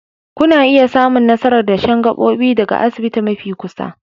Kuna iya samun nasarar dashen gabobi daga asibiti mafi kusa